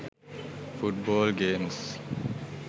foot ball games